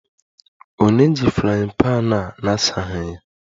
Ònye ji frying pan a na-asaghị ya?